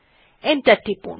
enter টিপুন